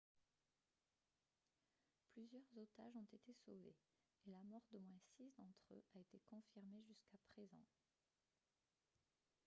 plusieurs otages ont été sauvés et la mort d'au moins six d'entre eux a été confirmée jusqu'à présent